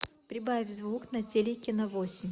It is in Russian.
прибавь звук на телике на восемь